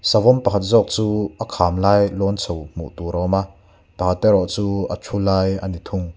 savawm pakhat zawk chu a kham lai lawn chho hmuh tur a awm a pakhat erawh chu a thu lai a ni thung.